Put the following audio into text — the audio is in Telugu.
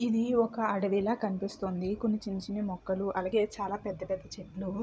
ఇది ఒక అడవి లా కనిపిస్తుంది. కొన్ని చిన్న చిన్న మొక్కలు అలాగే చాలా పెద్ద పెద్ద చెట్లు --